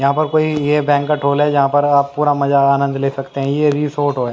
यहां पर ये कोई ये बैंक्वेट हॉल है जहां पर आप पूरा मजा आनंद ले सकते हैं ये रिसॉर्ट है।